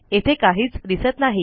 येथे काहीच दिसत नाही